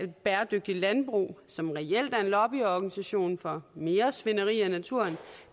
bæredygtigt landbrug som reelt er en lobbyorganisation for mere svineri i naturen